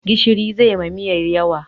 Gishiri zai ma miyan yawa